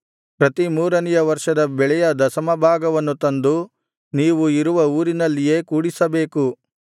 ಪ್ರತಿ ಮೂರನೆಯ ವರ್ಷದ ಬೆಳೆಯ ದಶಮಭಾಗವನ್ನು ತಂದು ನೀವು ಇರುವ ಊರಿನಲ್ಲಿಯೇ ಕೂಡಿಸಬೇಕು